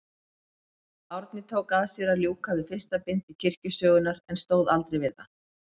Árni tók að sér að ljúka við fyrsta bindi kirkjusögunnar, en stóð aldrei við það.